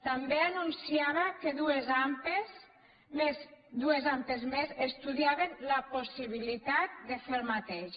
també anunciava que dues ampa més estudiaven la possibilitat de fer el mateix